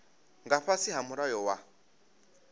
nga fhasi ha mulayo wa